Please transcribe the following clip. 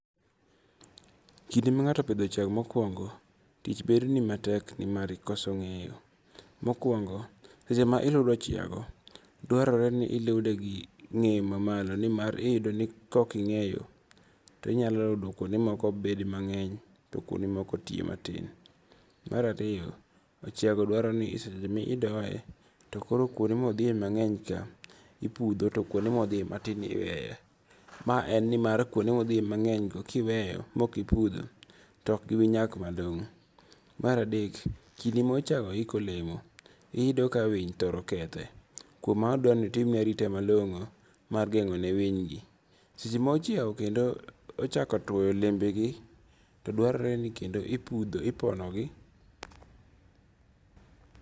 Kinde ma nga'to opitho ochiago mokuongo, tich bedoni matek ni mar ikoso nge'yo. Mokuongo seche ma iludo ochiago dwarore ni ilude gi nge'yo mamalo nimar iyudo ni ka okinge'yo to inyalo ludo kuonde moko bed mange'ny to kuonde moko ti mati. Marariyo ochiago dwaroni seche ma idoye to koro kuonde ma othie mange'ny ka iputho to kuonde ma othie matin iweyo, ma en ni mar kuonde ma othieye mange'ny kiweyo mokiputho to ok gibinyak malongo'. Maradek kinde ma ochiago iko olemo iyudo ka winy thoro kethe kuom mano duarore ni itimne arita malongo' mar gengo'ne winygi, seche ma ochiago kendo ochako twoyo olembegi to dwaroreni kendo iputho iponogi.